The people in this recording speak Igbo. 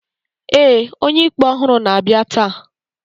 ee, onye-ikpe ọhụrụ na-abịa taa